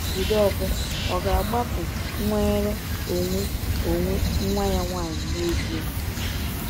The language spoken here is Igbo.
Jideofor ò ga-agbapụ nnwere onwe onwe nwa ya nwanyị n’ezie?